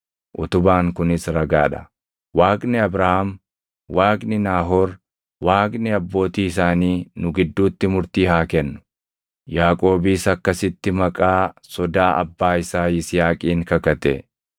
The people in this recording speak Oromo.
Waaqni Abrahaam, Waaqni Naahoor, Waaqni abbootii isaanii nu gidduutti murtii haa kennu.” Yaaqoobis akkasitti maqaa Sodaa abbaa isaa Yisihaaqiin kakate.